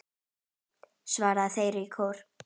Já! svara þeir í kór.